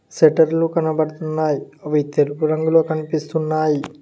షటర్లు కనబడుతున్నాయ్ అవి తెలుపు రంగులో కనిపిస్తున్నాయి